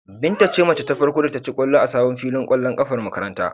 Binta ce mace ta farko da ta ci ƙwallo a sabon filin ƙwallon ƙafar makarantar.